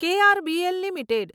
KRBL limited